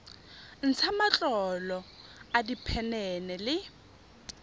ntsha matlolo a diphenene le